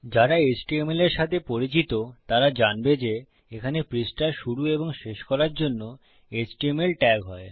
যারা html এর সাথে পরিচিত তারা জানবে যে এখানে পৃষ্ঠা শুরু এবং শেষ করার জন্য এচটিএমএল ট্যাগ হয়